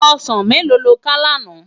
Òsán méló ló ká làná?